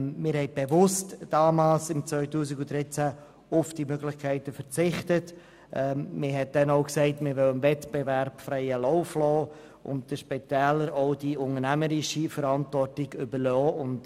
Man hat im Jahr 2013 bewusst auf diese Möglichkeiten verzichtet und gesagt, man wolle dem Wettbewerb freien Lauf lassen und den Spitälern die unternehmerische Verantwortung überlassen.